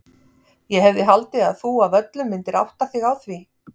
Ég hefði haldið að þú af öllum myndir átta þig á því.